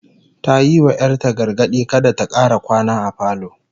Ta yi wa 'yar ta gargadi kada ta kara kwana a falo